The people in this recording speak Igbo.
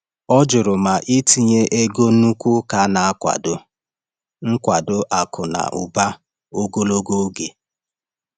Ọ jụrụ ma itinye ego nnukwu ụka na-akwado nkwado akụ na ụba ogologo oge.